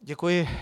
Děkuji.